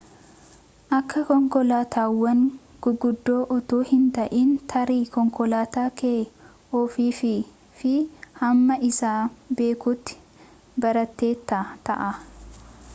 akka konkolaataawwan guguddoo utuu hin ta'in tarii konkolaataa kee ofuufii fi hamma isaa beekuutti barteetta ta'a